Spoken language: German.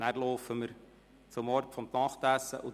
Danach gehen wir zu Fuss zum Ort des Nachtessens.